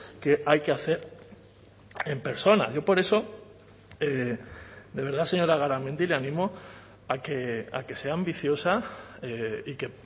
que hay que hacer en persona yo por eso de verdad señora garamendi le animo a que sea ambiciosa y que